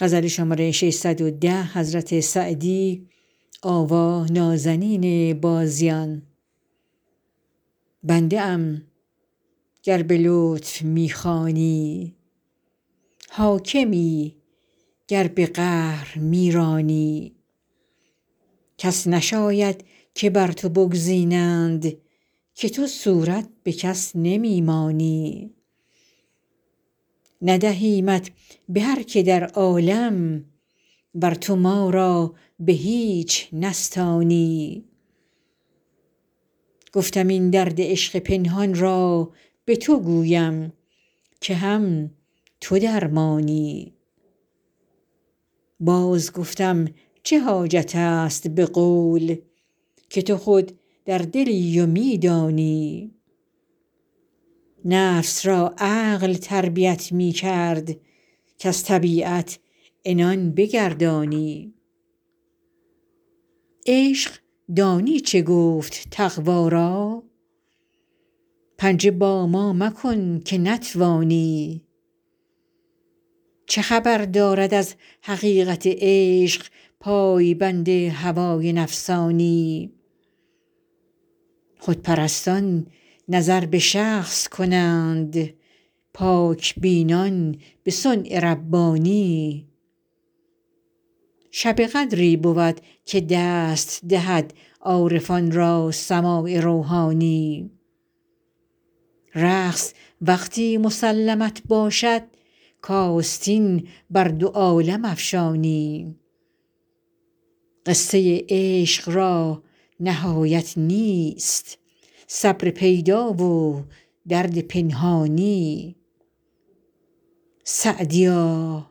بنده ام گر به لطف می خوانی حاکمی گر به قهر می رانی کس نشاید که بر تو بگزینند که تو صورت به کس نمی مانی ندهیمت به هر که در عالم ور تو ما را به هیچ نستانی گفتم این درد عشق پنهان را به تو گویم که هم تو درمانی باز گفتم چه حاجت است به قول که تو خود در دلی و می دانی نفس را عقل تربیت می کرد کز طبیعت عنان بگردانی عشق دانی چه گفت تقوا را پنجه با ما مکن که نتوانی چه خبر دارد از حقیقت عشق پای بند هوای نفسانی خودپرستان نظر به شخص کنند پاک بینان به صنع ربانی شب قدری بود که دست دهد عارفان را سماع روحانی رقص وقتی مسلمت باشد کآستین بر دو عالم افشانی قصه عشق را نهایت نیست صبر پیدا و درد پنهانی سعدیا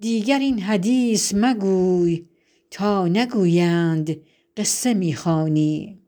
دیگر این حدیث مگوی تا نگویند قصه می خوانی